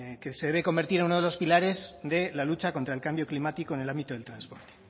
que se debe convertir en uno de los pilares de la lucha contra el cambio climático en el ámbito del transporte